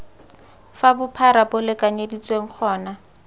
fa bophara bo lekanyeditsweng gona